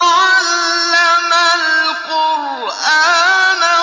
عَلَّمَ الْقُرْآنَ